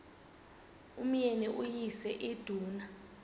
umyeni uyise iduna